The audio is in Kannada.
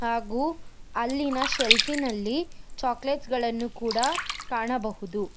ಹಾಗು ಅಲ್ಲಿನ ಸೆಲ್ಫ್ ಗಳಲ್ಲಿ ಚಾಕ್ಲೆಟ್ ಗಳನ್ನು ಕಾಣಬಹುದು.